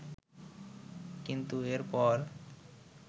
কিন্তু এর পর